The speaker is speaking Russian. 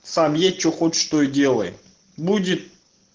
сам едь что хочешь то и делай будет